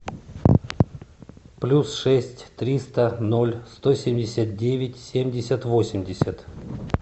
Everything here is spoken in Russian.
плюс шесть триста ноль сто семьдесят девять семьдесят восемьдесят